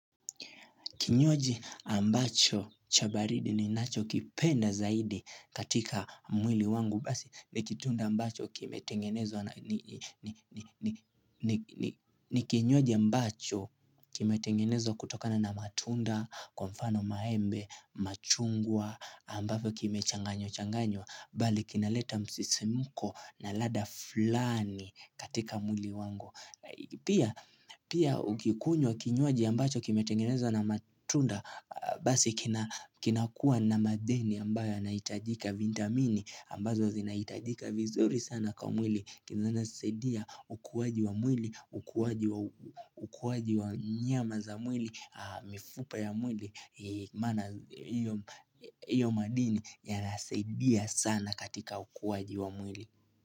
Kinywaji ambacho cha baridi ninachokipenda zaidi katika mwili wangu. Basi ni kinywaji ambacho kimetengenezwa kutokana na matunda, kwa mfano maembe, machungwa, ambayo kimechanganywachanganywa. Bali kinaleta msisimko na lada fulani katika mwili wangu. Pia ukikunywa kinywaji ambacho kimetengenezwa na matunda Basi kinakuwa na madini ambayo yanaitajika vintamini ambazo zinaitajika vizuri sana kwa mwili Kizanasaidia ukuaji wa mwili, ukuaji wa nyama za mwili, mifupa ya mwili Iyo madini yanasaidia sana katika ukuaji wa mwili.